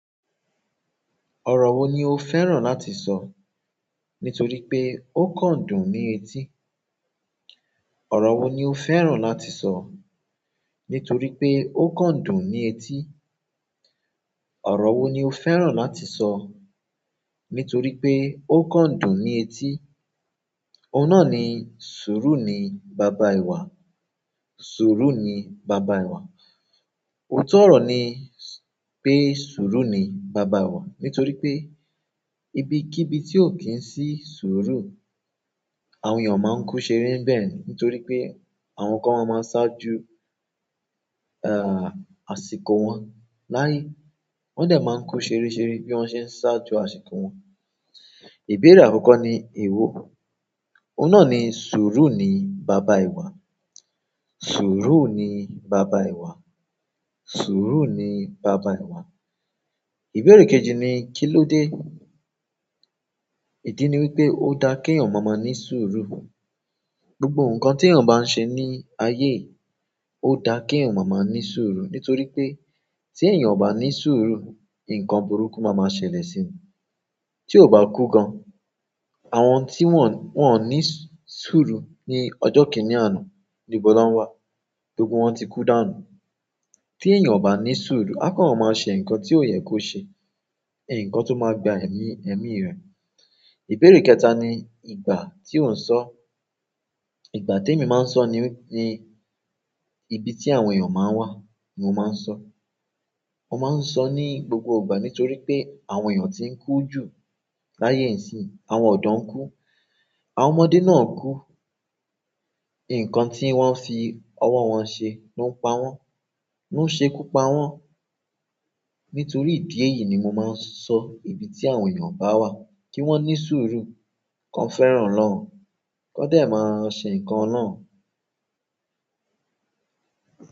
Ọ̀rọ̀ wo ni o fẹ́ràn láti sọ nítorí pé ó kán dùn ní etí? Ọ̀rọ̀ wo ni o fẹ́ràn láti sọ nítorí pé ó kán dùn ní etí? Ọ̀rọ̀ wo ni o fẹ́ràn láti sọ nítorí pé ó kán dùn ní etí? Òun náà ni sùúrù ni baba ìwà, sùúrù ni baba ìwà. Ó tọrọ ní pé sùúrù ni baba ìwà nítorí pé ibi kí ibi tí ó kí ń sí sùúrù, àwọn èèyàn máa ń kú ṣeré ńbẹ̀ ni. Nítorí pé àwọn kan máma ṣáájú, eh, àsìkò wọn láyé. Wọ́n dẹ̀ máa ń kú ṣeréṣeré bí wọ́n ṣé ń ṣáájú àsìkò wọn. Ìbéèrè àkọ́kọ́ ni èwo. Òun náà ni sùúrù ni baba ìwà, sùúrù ni baba ìwà, sùúrù ni baba ìwà. Ìbéèrè kejì ni kíló dé? Idi ni wípé ó da kí èèyàn má ma ní sùúrù. Gbogbo nǹkan tí èèyàn bá ń ṣe ní ayé, ó da kí èèyàn má ma ní sùúrù nítorí pé tí èèyàn ò bá ní sùúrù, nǹkan burúkú máa máa ṣẹlẹ̀ sí i. Tí ó bá kú gan, àwọn tí wọ́n, wọ́n ò ní sùúrù ní ọjọ́ kìíní àná ni ibọ ni wọn wá gbogbo wọ́n ti kú dànù. Tí èèyàn ò bá ní sùúrù, a kan máa ṣe nǹkan tí ó yẹ kó ṣe, nǹkan tó máa gba ẹ̀mí, ẹ̀mí rẹ̀. Ìbéèrè kẹta ni ìgbà tí o ń sọ. Ìgbà tí èmi máa ń sọ ni, ni ibi tí àwọn èèyàn máa ń wà ni mo máa ń sọ. Mo máa ń sọ ní gbogbo ìgbà nítorí pé àwọn èèyàn tí ń kú ju láyé ìsín. Àwọn ọ̀dọ́ ń kú, àwọn ọmọdé náà ń kú. Nǹkan tí wọ́n fi ọwọ́ wọn ṣe ló ń pa wọ́n, ló ń ṣe ikú pa wọ́n. Nítorí ìdí èyí ni mo máa ń sọ ibi tí àwọn èèyàn bá wà kí wọ́n ní sùúrù, kọ́ fẹ́ràn ọlọun, kọ́ dẹ̀ máa ṣe nǹkan náà.